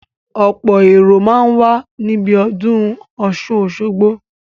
Ọ̀pọ̀ èrò máa ń wà níbi ọdún Ọ̀sun Osogbo